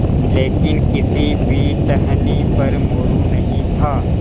लेकिन किसी भी टहनी पर मोरू नहीं था